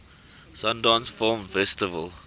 sundance film festival